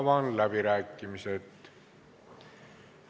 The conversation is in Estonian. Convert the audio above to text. Avan läbirääkimised.